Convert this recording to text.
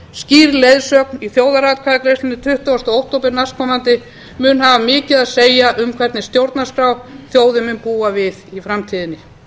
skýr leiðsögn í þjóðaratkvæðagreiðslunni tuttugasta október næstkomandi mun hafa mikið að segja um hvernig stjórnarskrá þjóðin muni búa við í framtíðinni